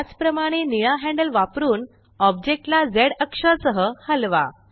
त्याच प्रमाणे निळा हॅंडल वापरुन ओब्जेक्टला झ अक्षा सह हलवा